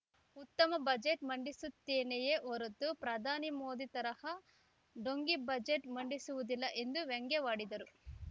ಉತ್ತಮ ಬಜೆಟ್‌ ಮಂಡಿಸುತ್ತೇನೆಯೇ ಹೊರತು ಪ್ರಧಾನಿ ಮೋದಿ ತರಹ ಢೋಂಗಿ ಬಜೆಟ್‌ ಮಂಡಿಸುವುದಿಲ್ಲ ಎಂದು ವ್ಯಂಗ್ಯವಾಡಿದರು